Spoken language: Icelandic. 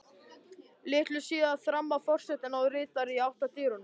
Litlu síðar þramma forsetinn og ritararnir í átt að dyrunum.